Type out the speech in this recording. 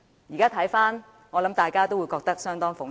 如今回想，相信大家都會覺得相當諷刺。